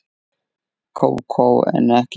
Kókó en ekki þig.